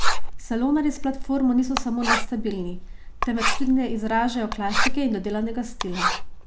Salonarji s platformo niso samo nestabilni, temveč tudi ne izražajo klasike in dodelanega stila.